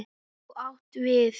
Þú átt við.